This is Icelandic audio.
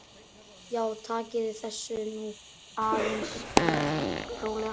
Já, takiði þessu nú aðeins rólega!